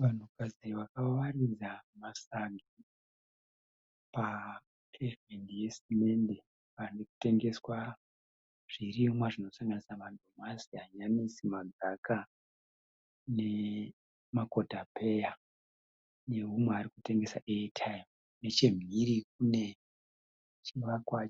Vanhukadzi vawakaridza masagi papevhimendi yesimendi pari kutengeswa zvirimwa zvinosanganisa madomasi, hanyanisi, magaka nemakotapeya neumwe ari kutengesa eye taimu. Nechemhiri kune chivakwa